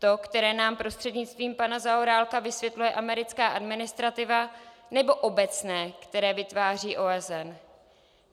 To, které nám prostřednictvím pana Zaorálka vysvětluje americká administrativa, nebo obecné, které vytváří OSN?